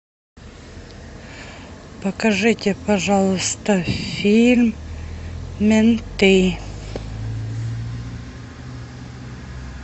покажите пожалуйста фильм менты